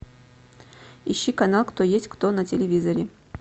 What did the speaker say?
ищи канал кто есть кто на телевизоре